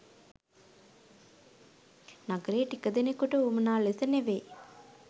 නගරයේ ටික දෙනකුට වුවමනා ලෙස ‍නෙවෙයි